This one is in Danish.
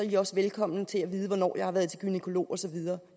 de også velkomne til at vide hvornår jeg har været til gynækolog og så videre